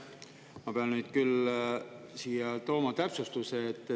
Ma pean nüüd küll siia tooma täpsustuse.